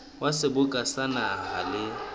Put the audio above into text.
wa seboka sa naha le